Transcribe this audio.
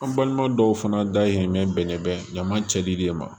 An balima dɔw fana dayirimɛ bɛnnen bɛ ɲama cɛli de ye ma